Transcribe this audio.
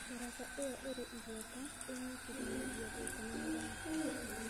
Daraca ĩyo ĩrĩ igweta ĩnyitithanagia Thĩka na Mũrang'a.